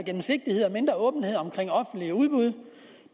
gennemsigtighed og mindre åbenhed omkring offentlige udbud